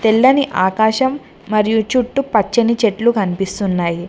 తెల్లని ఆకాశం మరియు చుట్టుపచ్చని చెట్లు కనిపిస్తున్నాయి.